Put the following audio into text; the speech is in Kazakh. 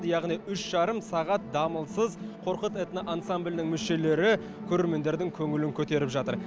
яғни үш жарым сағат дамылсыз қорқыт этно ансамблінің мүшелері көрерменнің көңілін көтеріп жатыр